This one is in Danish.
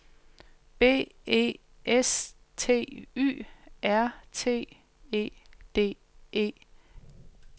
B E S T Y R T E D E